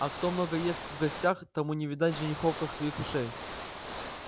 а кто много ест в гостях тому не видать женихов как своих ушей